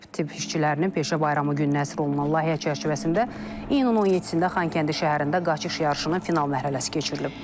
Tibb işçilərinin peşə bayramı gününə əsr olunan layihə çərçivəsində iyunun 17-də Xankəndi şəhərində qaçış yarışının final mərhələsi keçirilib.